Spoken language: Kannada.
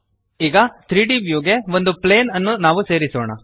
ಈಗ 3ದ್ ವ್ಯೂ ಗೆ ಒಂದು ಪ್ಲೇನ್ ಅನ್ನು ನಾವು ಸೇರಿಸೋಣ